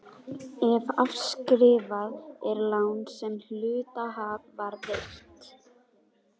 ef afskrifað er lán sem hluthafa var veitt.